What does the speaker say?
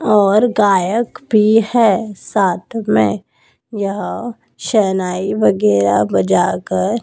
और गायक भी है साथ में यह शहनाई वगैरह बजा कर--